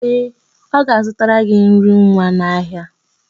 Ee, ọ ga-azụtara gị nri nwa n'ahịa.